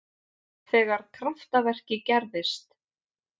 Þegar kraftaverkið gerðist.